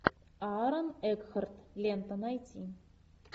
аарон экхарт лента найти